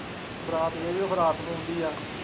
ਬਰਾਤ ਰਾਤ ਨੂੰ ਆਉਂਦੀ ਹੈ।